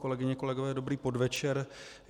Kolegyně, kolegové, dobrý podvečer.